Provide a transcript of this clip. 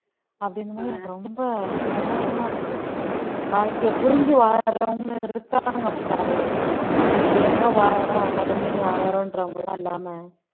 அப்படின்னும் போது எனக்கு ரொம்ப சந்தோஷமா இருந்தது வாழ்க்கையைப் புரிஞ்சு வாழறவங்களும் இருக்காங்க பாரு ஏனோ வாழுறோம் கடமைன்னு வாழறோம்ன்றவங்க எல்லாம் இல்லாம